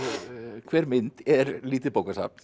hver mynd er lítið bókasafn